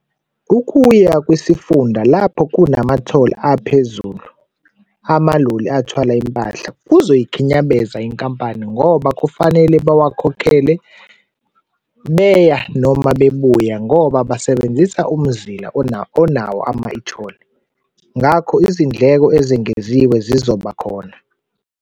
Ukuya kwisifunda lapho kunama-toll aphezulu, amaloli athwala impahla, kuzoyikhinyabeza inkampani ngoba kufanele bawakhokhele beya noma bebuya ngoba basebenzisa umzila onawo ama-e-Toll. Ngakho izindleko ezengeziwe zizobakhona.